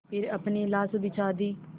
फिर अपनी लाश बिछा दी